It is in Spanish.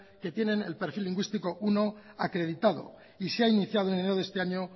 que tienen el perfil lingüístico primero acreditado y se ha iniciado en enero de este año